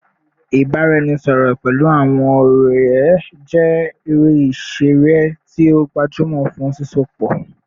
Ibaraẹnisọrọ pẹlu awọn ọrẹ jẹ ere iṣere ti o gbajumọ fun sisọpọ